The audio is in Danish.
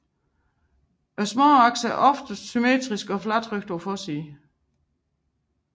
Småaksene er oftest symmetriske og fladtrykte på forsiden